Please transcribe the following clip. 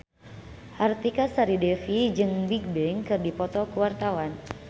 Artika Sari Devi jeung Bigbang keur dipoto ku wartawan